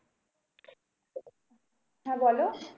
হ্যাঁ বলো?